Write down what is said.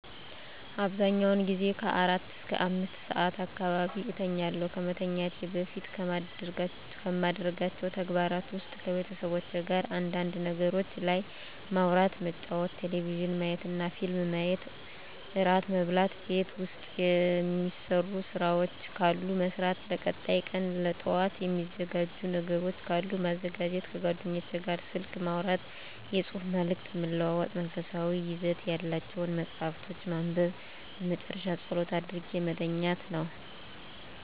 አብዛኛውን ጊዜ ከአራት እስከ አምስት ሰዓት አካባቢ እተኛለሁ። ከመተኛቴ በፊት ከማደርጋቸው ተግባራት ውስጥ ከቤተሰቦቼ ጋር አንዳንድ ነገሮች ላይ ማውራት መጫወት ቴሌቪዥን ማየትና ፊልም ማየት እራት መብላት ቤት ውስጥ የሚሰሩ ስራዎች ካሉ መስራት ለቀጣይ ቀን ለጠዋት የሚዘጋጅ ነገሮች ካሉ ማዘጋጀት ከጓደኞቼ ጋር ስልክ ማውራትና የፅሁፍ መልዕክት መለዋወጥ መንፈሳዊ ይዘት ያላቸውን መፃሀፍቶችን ማንበብ በመጨረሻ ፀሎት አድርጌ መተኛት ነው።